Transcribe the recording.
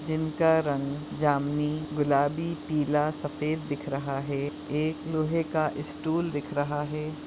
जिनका रंग जामनी गुलाबी पीला सफ़ेद दिख रहा है एक लोहे का स्टूल दिख रहा है।